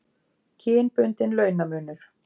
Kynbundinn launamunur.